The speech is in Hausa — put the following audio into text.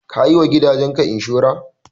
Ka yi wa gidaje ka inshora.